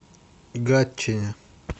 гатчине